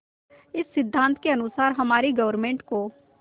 इस सिद्धांत के अनुसार हमारी गवर्नमेंट को